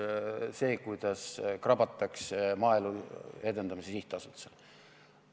... see, kuidas krabatakse Maaelu Edendamise Sihtasutusest.